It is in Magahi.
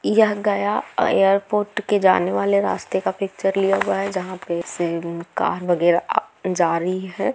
यह गया एयरपोर्ट के जाने वाले रास्ते का पिक्चर लिया हुआ है जहां पे से कार वगैरा जा रही है।